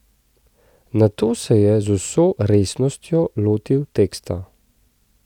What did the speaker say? Nato se je z vso resnostjo lotil teksta.